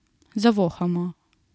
Zavohamo.